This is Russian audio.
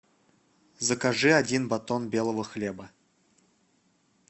закажи один батон белого хлеба